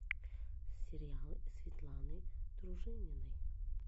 сериал светланы дружининой